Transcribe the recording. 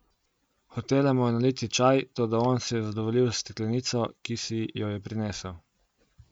Hotela mu je naliti čaj, toda on se je zadovoljil s steklenico, ki si jo je prinesel.